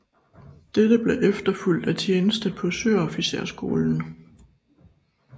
Dette blev efterfulgt af tjeneste på søofficerskolen